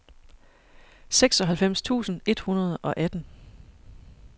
seksoghalvfems tusind et hundrede og atten